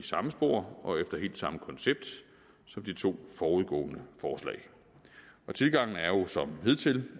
samme spor og efter helt samme koncept som de to forudgående forslag tilgangen er jo som hidtil